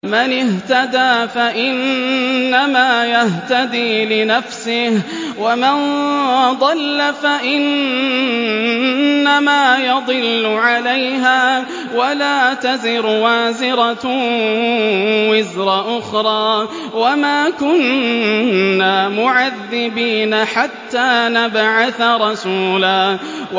مَّنِ اهْتَدَىٰ فَإِنَّمَا يَهْتَدِي لِنَفْسِهِ ۖ وَمَن ضَلَّ فَإِنَّمَا يَضِلُّ عَلَيْهَا ۚ وَلَا تَزِرُ وَازِرَةٌ وِزْرَ أُخْرَىٰ ۗ وَمَا كُنَّا مُعَذِّبِينَ حَتَّىٰ نَبْعَثَ رَسُولًا